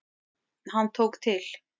Hann tók til.